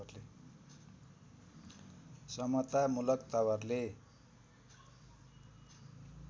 समतामूलक तवरले